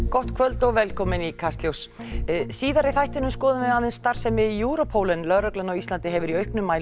gott kvöld og velkomin í Kastljós síðar í þættinum skoðum við aðeins starfssemi Europol en lögreglan á Íslandi hefur í auknum mæli